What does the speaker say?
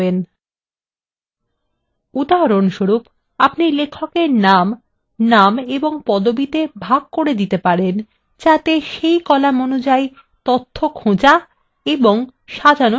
উদাহরণস্বরূপ আপনি লেখকদের name name ও পদবিতে বিভক্ত করতে পারেন যাতে সেই কলাম অনুযায়ী খোঁজা বা সাজানো সহজ হয়ে যায়